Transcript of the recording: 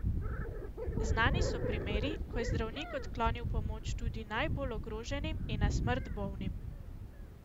Znani so primeri, ko je zdravnik odklonil pomoč tudi najbolj ogroženim in na smrt bolnim.